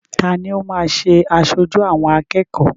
Ta ni ó máa ṣe aṣojú àwọn akẹ́kọ̀ọ́?